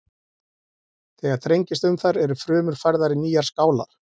Þegar þrengist um þær eru frumur færðar í nýjar skálar.